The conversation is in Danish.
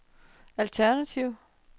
alternativ